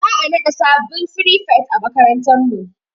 Za'a naɗa sabbin frifet a makarantar mu.